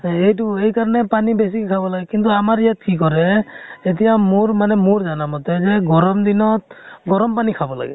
হেইতু হেইকাৰণে পানী বেছিকে খাব লাগে । কিন্তু আমাৰ ইয়াত কি কৰে, এতিয়া মোৰ মানে, মোৰ জানা মতেৰে, গৰম দিনত গৰম পানী খাব লাগে ।